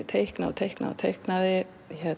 teiknaði og teiknaði og teiknaði